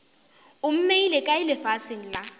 o mmeile kae lefaseng la